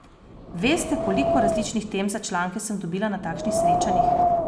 Veste, koliko različnih tem za članke sem dobila na takšnih srečanjih?